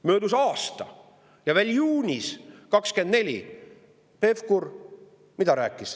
Möödus aasta ja mida Pevkur rääkis veel juunis 2024?